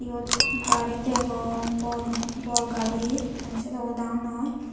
yot gari degong bor bor gari maneh sedogo dangor noi.